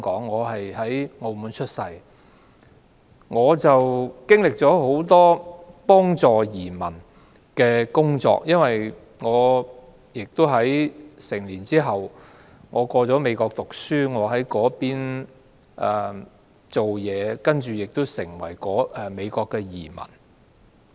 我曾擔任很多協助移民的工作，因為我成年後到美國升學，在那邊工作，亦成為美國的移民。